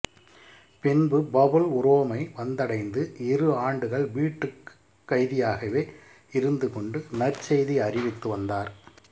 பின்பு பவுல் உரோமை வந்தடைந்து இரு ஆண்டுகள் வீட்டுக் கைதியாகவே இருந்துகொண்டு நற்செய்தி அறிவித்து வந்தார்